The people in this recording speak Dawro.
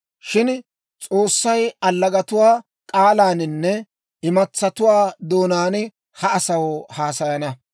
Shin S'oossay allagatuwaa k'aalaaninne imatsatuwaa doonaan ha asaw haasayana.